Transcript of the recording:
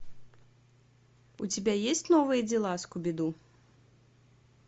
у тебя есть новые дела скуби ду